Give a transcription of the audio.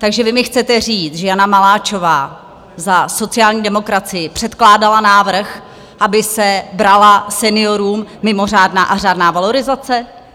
Takže vy mi chcete říct, že Jana Maláčová za sociální demokracii předkládala návrh, aby se brala seniorům mimořádná a řádná valorizace?